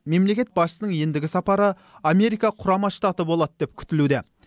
мемлекет басшысының ендігі сапары америка құрама штаты болады деп күтілуде